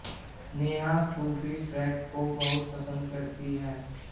नेहा सूफी ट्रैक को बहुत पसंद करती हैं